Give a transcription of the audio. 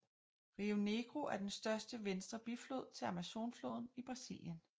Rio Negro er den største venstre biflod til Amazonfloden i Brasilien